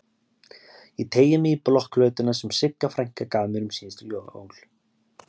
Ég teygi mig í blokkflautuna sem Sigga frænka gaf mér um síðustu jól.